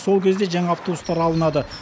сол кезде жаңа автобустар алынады